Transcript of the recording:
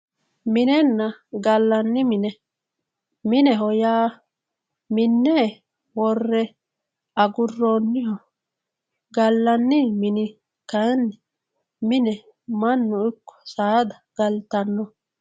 minenna gallanni mine mineho yaa minne worre agurroonniha gallanni mine kayiinni mine mannu ikkko saada galtanno.